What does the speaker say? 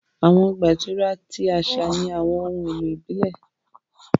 Awọn ọgba ìturá ti aṣa ni awọn ohun elo ibile.